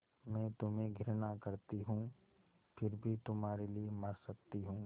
मैं तुम्हें घृणा करती हूँ फिर भी तुम्हारे लिए मर सकती हूँ